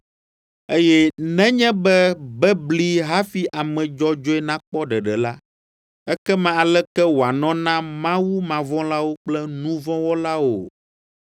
Eye, “Nenye be bebli hafi ame dzɔdzɔe nakpɔ ɖeɖe la, ekema aleke wòanɔ na mawumavɔ̃lawo kple nu vɔ̃ wɔlawo?”